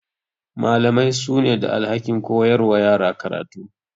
Malamai su ne da alhakin koyar wa yara karatu.